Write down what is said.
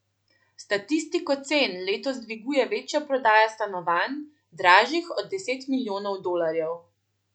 Statistiko cen letos dviguje večja prodaja stanovanj, dražjih od deset milijonov dolarjev.